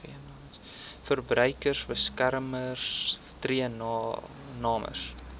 verbruikersbeskermer tree namens